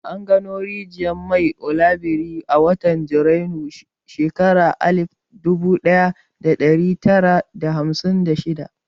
An gano rijiyar man Oloibiri a watan Janairun shekarar alif dubu ɗaya da ɗari tara da hamsin da shida.